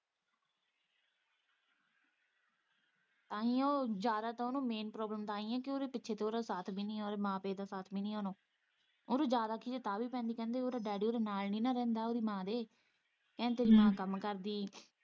ਤਾਂ ਹੀ ਉਹ ਜ਼ਿਆਦਾ ਤਾਂ ਉਹ ਨੂੰ ਤਾਂਹੀ ਏ ਕਿ ਪਿੱਛੇ ਉਹ ਦਾ ਸਾਥ ਵੀ ਨਹੀਂ ਏ ਉਹ ਦੇ ਮਾਂ-ਪਿਓ ਦਾ ਸਾਥ ਵੀ ਹੈ ਨਹੀਂ ਏ ਹੁਣ ਉਹਨੂੰ ਜ਼ਿਆਦਾ ਖਿਝ ਤਾਂ ਵੀ ਪੈਂਦੀ ਕਹਿੰਦੀ ਉਹ ਦਾ ਡੈਡੀ ਉਹ ਦੇ ਨਾਲ਼ ਨੀ ਨਾ ਰਹਿੰਦਾ ਉਹ ਦੀ ਮਾਂ ਦੇ ਐਣ ਤਸੱਲੀ ਨਾਲ਼ ਕੰਮ ਕਰਦੀ ਏ।